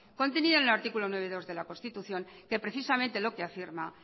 contenida en el artículo nueve punto dos de la constitución que precisamente lo que afirma